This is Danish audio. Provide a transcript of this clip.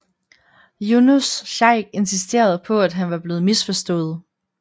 Younus Shaikh insisterede på at han var blevet misforstået